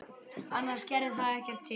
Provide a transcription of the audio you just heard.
Annars gerði það ekkert til.